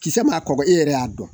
Kisɛ ma kɔgɔ e yɛrɛ y'a dɔn